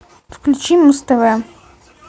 включи муз тв